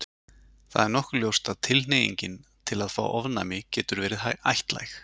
Það er nokkuð ljóst að tilhneigingin til að fá ofnæmi getur verið ættlæg.